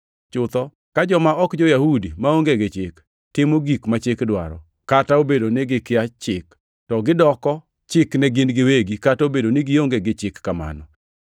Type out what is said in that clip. (Chutho ka joma ok jo-Yahudi maonge gi Chik, timo gik ma Chik dwaro, kata obedo ni gikia Chik, to gidoko chik ne gin giwegi kata obedo ni gionge gi chik kamano